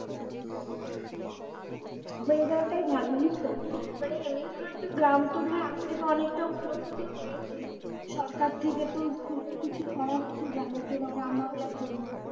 হয়ে যাওয়াটাই ভালো জানিস তো মানে এমনি তো ধর একটু গ্রাম তো ধর আগের থেকে অনেকটা উন্নত তো হয়েছে সরকার থেকে তো ভালো কিছু করা হচ্ছে গ্রামের জন্য গ্রামবাংলার জন্য